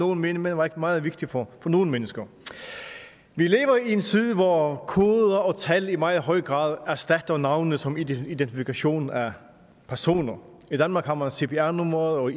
nogle mene men meget meget vigtig for nogle mennesker vi lever i en tid hvor koder og tal i meget høj grad erstatter navne som identifikation af personer i danmark har man cpr numre og